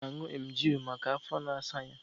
Chude na-aṅù emgili maka afọ na-asa ya